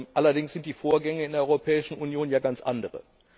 Allerdings sind die Vorgänge in der Europäischen Union ja ganz andere.